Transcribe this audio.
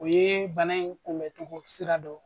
U ye bana in kunbɛncogo sira dɔ